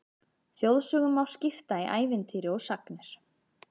Þjóðsögum má skipta í ævintýri og sagnir.